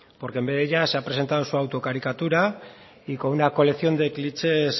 porque en vez de ella se ha presentado su auto caricatura y con una colección de clichés